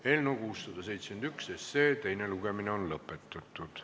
Eelnõu 671 teine lugemine on lõpetatud.